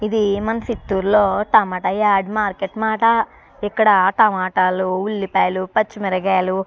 ఇది మన చిత్తూర్ లో టమాటా యాడ్ మార్కెట్ మాట. ఇక్కడ టమాటాలు ఉల్లిపాయలు పచ్చి మిరపకాయలు --